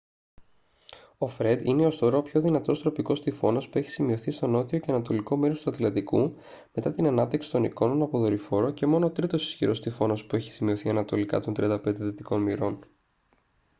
ο φρεντ είναι ως τώρα ο πιο δυνατός τροπικός τυφώνας που έχει σημειωθεί στο νότιο και ανατολικό μέρος του ατλαντικού μετά την ανάπτυξη των εικόνων από δορυφόρο και μόνο ό τρίτος ισχυρός τυφώνας που έχει σημειωθεί ανατολικά των 35 δυτικών μοιρών